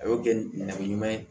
A y'o kɛ nɛrɛmuguma ye